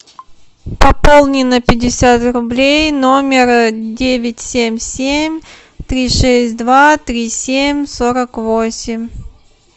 пополни на пятьдесят рублей номер девять семь семь три шесть два три семь сорок восемь